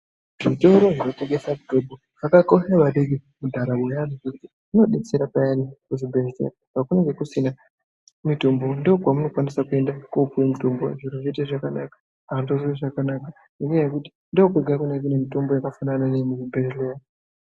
Zvitoro zvinotengesa mitombo zvakakosha maningi mundaramo yevantu ngekuti zvinodetsera payani kuchibhedhlera pakunenge kusina mitombo ndokwanisa kupuwa mitombo Zvoita zvakanaka vanhu voznwa zvakanaka nenyaya yekuti ndokwega kunenge kune mitombo yakasiyana neye kuzvibhedhlera.